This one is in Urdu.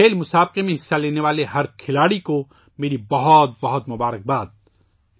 اس کھیلوں کے مقابلے میں حصہ لینے والے ہر کھلاڑی کے لئے میری نیک خواہشات ہیں